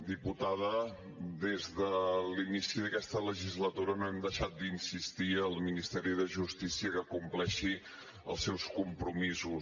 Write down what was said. diputada des de l’inici d’aquesta legislatura no hem deixat d’insistir al ministeri de justícia que compleixi els seus compromisos